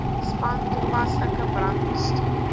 span toepaslike brandbestuur